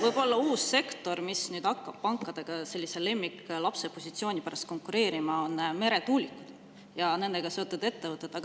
Võib-olla uus sektor, mis hakkab pankadega lemmiklapse positsiooni pärast konkureerima, on meretuulikud ja nendega seotud ettevõtted.